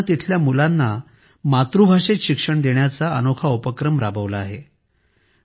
या गावाने तेथील मुलांना मातृभाषेत शिक्षण देण्याचा अनोखा उपक्रम राबवला आहे